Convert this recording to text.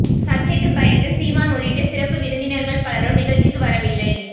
சர்ச்சைக்குப் பயந்து சீமான் உள்ளிட்ட சிறப்பு விருந்தினர்கள் பலரும் நிகழ்ச்சிக்கு வரவில்லை